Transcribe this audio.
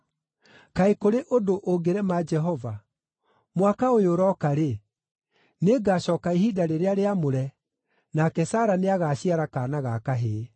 Kaĩ kũrĩ ũndũ ũngĩrema Jehova? Mwaka ũyũ ũroka-rĩ, nĩngacooka ihinda rĩrĩa rĩamũre, nake Sara nĩagaciara kaana ga kahĩĩ.”